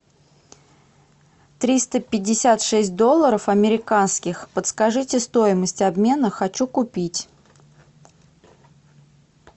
триста пятьдесят шесть долларов американских подскажите стоимость обмена хочу купить